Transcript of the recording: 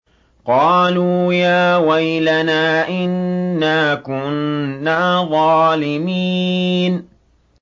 قَالُوا يَا وَيْلَنَا إِنَّا كُنَّا ظَالِمِينَ